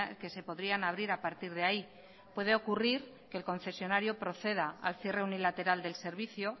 que se podrían abrir a partir de ahí puede ocurrir que el concesionario proceda al cierre unilateral del servicio